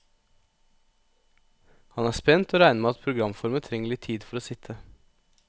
Han er spent, og regner med at programformen trenger litt tid for å sitte.